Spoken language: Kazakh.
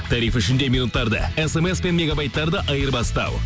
тариф ішінде минуттарды смс пен мегабайттарды айырбастау